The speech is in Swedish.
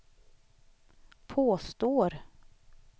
påstår